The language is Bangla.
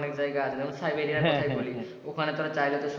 অনেক জায়গা আছে যেমন সাইবেরিয়ার কথা বলি ওখানে তারা চাইলে তো সবুজ,